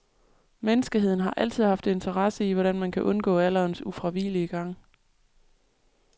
Menneskeheden har altid haft interesse i, hvordan man kan undgå alderens ufravigelige gang.